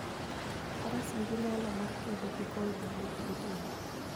Faras nigi nyalo mar kedo gi koyo mang'ich gotieno.